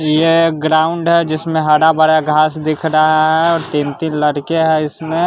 यह ग्राउंड है जिसमें हरा भरा घास दिख रहा है और तीन तीन लड़के है इसमें।